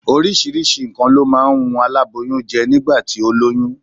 Oríṣiríṣi nǹkan ló máa ń ń wun aláboyún jẹ́ nígbà tí ó lóyún